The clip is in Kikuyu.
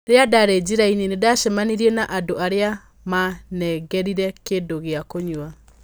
"Rĩrĩa ndaarĩ njĩra-inĩ, nĩ ndacemanirie na andũ arĩa maanengerire kĩndũ gĩa kũnyua.